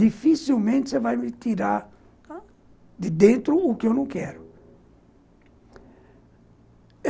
Dificilmente você vai me tirar de dentro o que eu não quero.